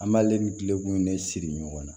An b'ale ni tile kun de siri ɲɔgɔn na